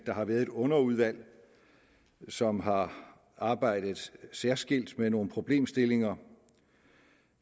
der har været et underudvalg som har arbejdet særskilt med nogle problemstillinger